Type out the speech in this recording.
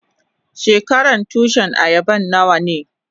Shekaran Tushin ayaban nawa ne?